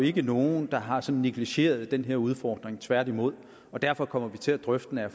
ikke er nogen der har negligeret den her udfordring tværtimod så derfor kommer vi til at drøfte den er